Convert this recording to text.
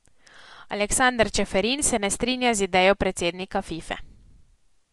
Aleksander Čeferin se ne strinja z idejo predsednika Fife.